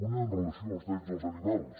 una amb relació als drets dels animals